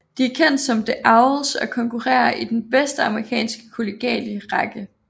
De er kendt som The Owls og konkurrerer i den bedste amerikanske kollegiale række